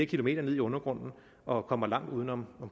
kilometer ned i undergrunden og kommer langt uden om